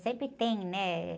Sempre tem, né?